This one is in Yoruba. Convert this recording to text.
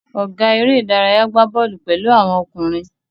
Ọ̀gá eré-idárayá gbà bọ́ọ́lù pẹ̀lú àwọn ọkùnrin.